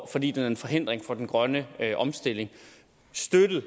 fordi den er en forhindring for den grønne omstilling støttet i